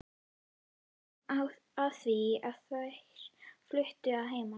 Svo kom að því að þær fluttu að heiman.